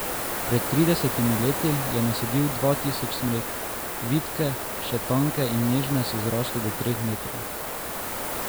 Pred tridesetimi leti je nasadil dva tisoč smrek, vitke, še tanke in nežne so zrasle do treh metrov.